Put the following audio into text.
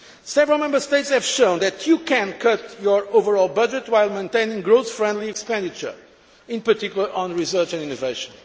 Several Member States have shown that you can cut your overall budget while maintaining growth friendly expenditure, in particular on research and innovation.